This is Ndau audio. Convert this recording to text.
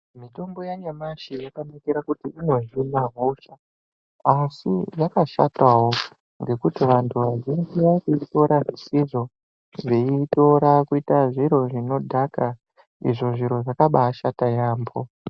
Mitombo yanyamashi yakanakira kuti inohina hosha asi yakashatawo ngekuti vantu vazhinji varikuitora zvisizvo veiitora kuita zviro zvinodhaka izvo zviro zvakabaashata yaamho.